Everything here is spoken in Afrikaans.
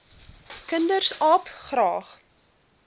kinders aap graag